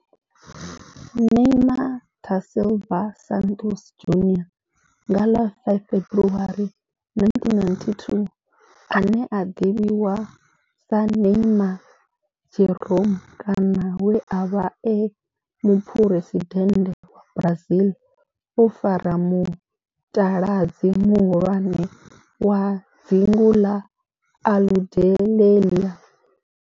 Neymar da Silva Santos Junior, nga ḽa 5 February 1992, ane a ḓivhiwa sa Neymar Jeromme kana we a vha e muphuresidennde wa Brazil o fara mutaladzi muhulwane wa dzingu na Aludalelia.